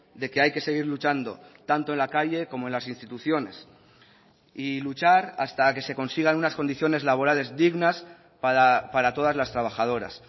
de que hay que seguir luchando tanto en la calle como en las instituciones y luchar hasta que se consigan unas condiciones laborales dignas para todas las trabajadoras